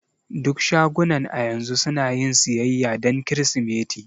Duk shagunan a yanzu sunayin siyayya dan kirsimeti.